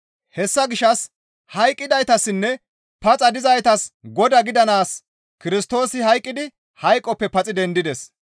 Hessa gishshas hayqqidaytassinne paxa dizaytas Godaa gidanaas Kirstoosi hayqqidi hayqoppe paxi dendides.